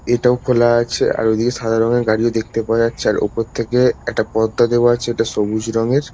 এটাও খোলা আছে আর ওদিকে সাদা রঙের গাড়িও দেখতে পাওয়া যাচ্ছে আর ওপর থেকে একটা পর্দা দেওয়া আছে ওটা সবুজ রঙের।